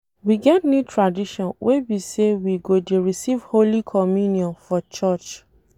We get new tradition wey be say we go dey receive holy communion for church